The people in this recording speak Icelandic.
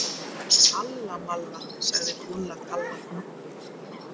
Alla malla, sagði Dúlla Kalla.